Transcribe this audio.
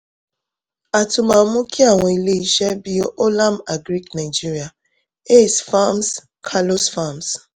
a tún máa mú kí àwọn ilé iṣẹ́ bíi olam agri nigeria aace farms carlos farms